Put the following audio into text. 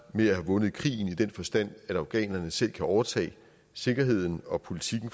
med at have vundet krigen i den forstand at afghanerne selv kan overtage sikkerheden og politikken